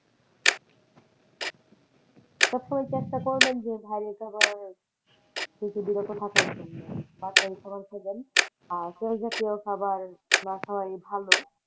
সবসময় একটা করবেন যে ভারী খাওয়ার আর তেল জাতীয় খাওয়ার না খাওয়াই ভালো।